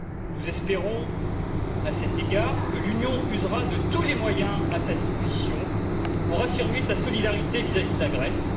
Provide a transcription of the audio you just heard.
Nous espérons, à cet égard, que l'Union usera de tous les moyens à sa disposition pour affirmer sa solidarité vis à vis de la Grèce.